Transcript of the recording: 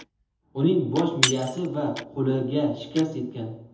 Uning bosh miyasi va qo‘liga shikast yetgan.